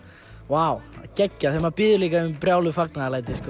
vá geggjað líka maður biður um brjáluð fagnaðarlæti